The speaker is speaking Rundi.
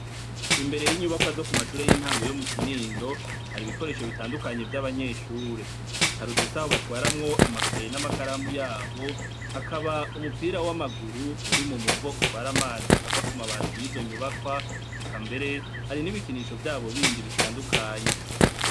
Imbere y'inyubakwa zo ku mashure y'intango yo mu Kinindo hari ibikoresho bitandukanye vy'abanyeshure hari udusaho batwaramwo amakaye n'amakaramu yabo hakaba umupira w'amaguru uri mu muvo utwara amazi ava ku mabati y'izo nyubakwa rekambere hari n'ibikinisho vyabo bindi bitandukanye.